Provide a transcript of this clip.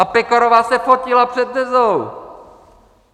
A Pekarová se fotila před Dezou!